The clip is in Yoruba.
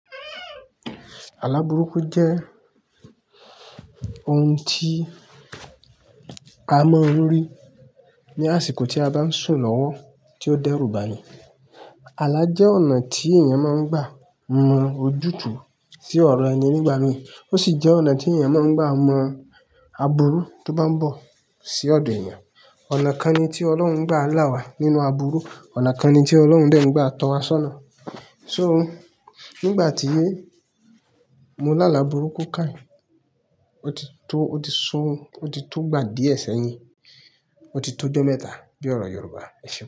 Àlá burúkú jẹ́ ohun tí a máa ń rí ní àsìkò tí a bá sùn lọ́wọ́ tí ó dẹ́rùbà ni. Àlá jẹ́ ọ̀nà tí èèyàn máa ń gbà mọ ojútùú sí ọ̀rọ̀ ẹni nígbà mìí. Ó sì jẹ́ ọ̀nà tí èèyàn máa ń gbà mọ̀ aburu tó bá ń bọ̀ sí ọ̀dọ̀ èèyàn. Ọ̀nà kan ni tí Ọlọ́run gba àlá wá nínú aburú. Ọ̀nà kan ni tí Ọlọ́run dẹ́ ń gbà tọ́ wa sọ́nà. So nígbà tí mo lá àlá burúkú ke yin, ó ti tó, ó ti sún, ó ti tó gbà díẹ̀ sẹ́yìn. Ó ti tó ọjọ́ mẹ́ta bí ọ̀rọ̀ Yorùbá. Ẹ ṣeun.